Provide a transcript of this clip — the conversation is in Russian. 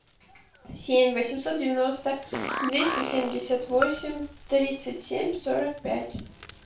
семь восемьсот девяносто двести семьдесят восемь тридцать семь сорок пять